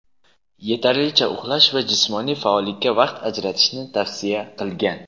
yetarlicha uxlash va jismoniy faollikka vaqt ajratishni tavsiya qilgan.